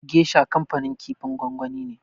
Gesha kanfanin kifin gwangwani ne.